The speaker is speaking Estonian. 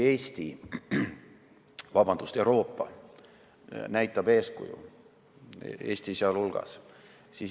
Euroopa näitab eeskuju, Eesti sealhulgas.